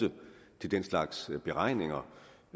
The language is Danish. til den slags beregninger